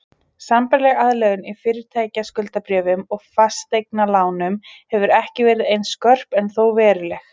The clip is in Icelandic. Sambærileg aðlögun í fyrirtækjaskuldabréfum og fasteignalánum hefur ekki verið eins skörp en þó veruleg.